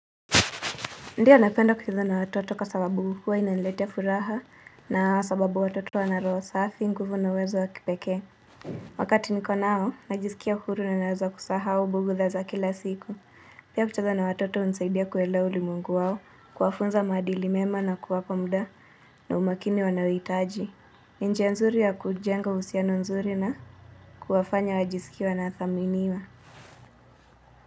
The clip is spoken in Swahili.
Ndio napenda kucheza na watoto kwa sababu huwa inaniletea furaha na sababu watoto wana roho safi, nguvu na uwezo wa kipekee. Wakati niko na hao, najisikia huru na naweza kusahau bugdha za kila siku. Pia kucheza na watoto hunisaidia kuelewa ulimwengu wao, kuwafunza maadili mema na kuwapa mda na umakini wanaohitaji. Njia nzuri ya kujenga uhusiano nzuri na kuwafanya wajisikie wanathaminiwa.